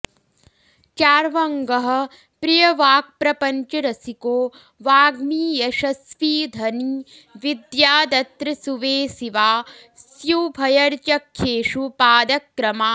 चार्वङ्गः प्रियवाक्प्रपञ्चरसिको वाग्मी यशस्वी धनी विद्यादत्र सुवेसिवास्युभयचर्यख्येषु पादक्रमात्